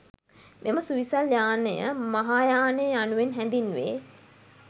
මෙම සුවිසල් යානය මහායානය යනුවෙන් හැඳින්වේ.